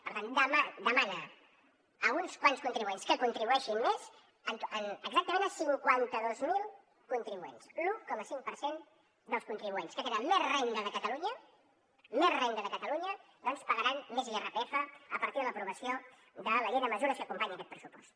per tant demana a uns quants contribuents que contribueixin més exactament a cinquanta dos mil contribuents l’un coma cinc per cent dels contribuents que tenen més renda de catalunya més renda de catalunya doncs pagaran més irpf a partir de l’aprovació de la llei de mesures que acompanya aquest pressupost